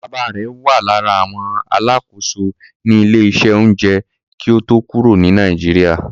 Bàbáa rẹ̀ wà lára àwọn alákòóso ní ilé-iṣẹ́ oúnjẹ kí ó tó kúrò ní Nàìjíríà.